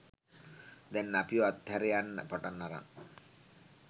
දැන් අපිව අත් හැර යන්න පටන් අරන්.